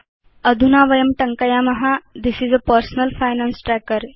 अधुना वयं टङ्कयाम this is A personal finance tracker